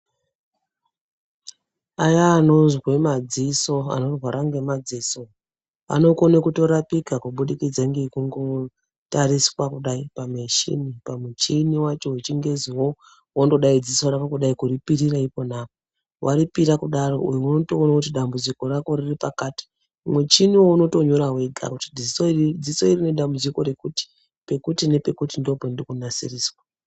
Kune vanozwe madziso , vanorware ngemadziso vanokone kutorapika kuburikidza nekungo tariswakudai muchini pamuchini wechingezi ,wondodai dziso rako kudai kuripirira ipona apa ,waripira kudaro unotoona kuti dambudziko rako riri pakati , wotonyora wega dziso dziso iri rine dambudziko rakati pekuti nepekuti ndipowo pandiriri kunasiriswa.